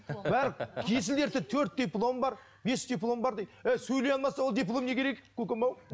бәрі есіл дерті төрт дипломы бар бес дипломы бар дейді ей сөйлей алмаса ол диплом не керек көкем ау